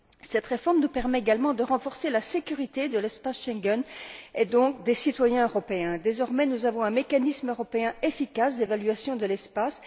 Cette réforme nous permet également de renforcer la sécurité de l'espace Schengen et donc, des citoyens européens. Désormais, nous avons un mécanisme européen efficace d'évaluation de l'espace.